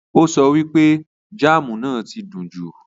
Ó so wípé jáámù náà ti dùn jù.